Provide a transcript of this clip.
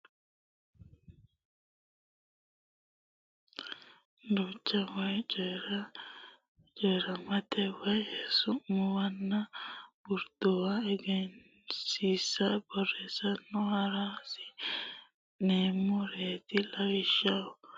Lawishshaho Dagucho dagucho daqiiqa maxaafa laga Woshsho Su muwa Gutu Gurduwa Duucha wote coyi rammete woy Su muwanna Gurduwa Egensiisa borrote horonsi neemmoreeti Lawishshaho.